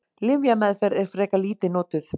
Lyfjameðferð er frekar lítið notuð.